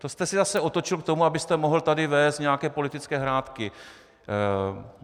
To jste si zase otočil k tomu, abyste mohl tady vést nějaké politické hrátky.